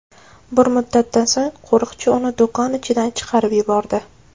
Bir muddatdan so‘ng qo‘riqchi uni do‘kon ichidan chiqarib yubordi.